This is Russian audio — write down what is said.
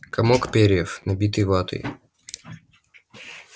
комок перьев набитый ватой